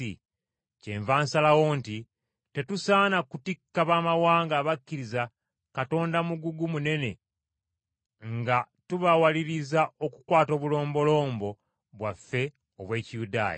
“Kyenva nsalawo nti, Tetusaana kutikka baamawanga abakkiriza Katonda mugugu munene nga tubawaliriza okukwata obulombolombo bwaffe obw’Ekiyudaaya.